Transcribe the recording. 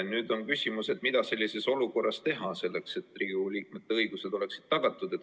Nüüd on küsimus, mida sellises olukorras teha, selleks et Riigikogu liikmete õigused oleksid tagatud.